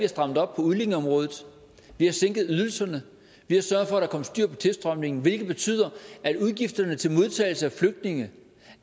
strammet op på udlændingeområdet vi har sænket ydelserne vi har sørget for at der kom styr på tilstrømningen hvilket betyder at udgifterne til modtagelse af flygtninge